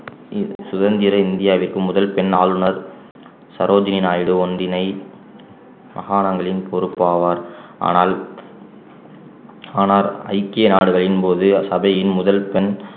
இந்~ சுதந்திர இந்தியாவிற்கு முதல் பெண் ஆளுநர் சரோஜினி நாயுடு ஒன்றினை மாகாணங்களில் பொறுப்பாவார் ஆனால் ஆனால் ஐக்கிய நாடுகளின் போது சபையின் முதல் பெண்